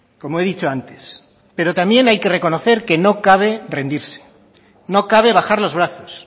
como he dicho antes pero también hay reconocer que no cabe rendirse no cabe bajar los brazos